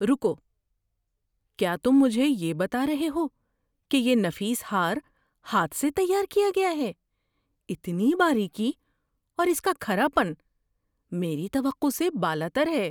رکو، کیا تم مجھے یہ بتا رہے ہو کہ یہ نفیس ہار ہاتھ سے تیار کیا گیا ہے؟ اتنی باریکی اور اس کا کھرا پن میری توقع سے بالاتر ہے!